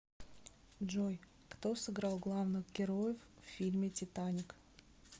джой кто сыграл главных героев в фильме титаник